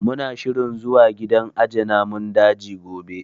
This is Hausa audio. Mu na shirin zuwa gidan aje namun daji gobe